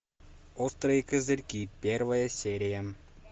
острые козырьки первая серия